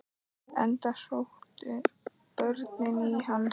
Enda sóttu börnin í hann.